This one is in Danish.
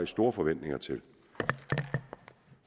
store forventninger til